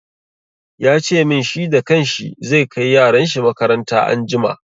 Ya ce min, shi da kan shi zai kai yaran shi makaranta anjima.